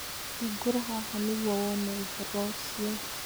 Hingũra haha nĩguo wone ũhoro ũcio.